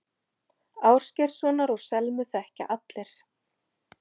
Ásgeirssonar og Selmu þekkja allir.